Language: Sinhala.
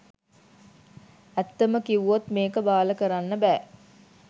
ඇත්තම කිව්වොත් මේක බාල කරන්න බෑ